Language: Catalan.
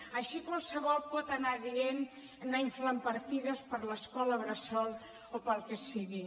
així qualsevol pot anar dient anar inflant partides per a l’escola bressol o per al que sigui